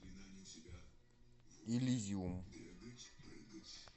элизиум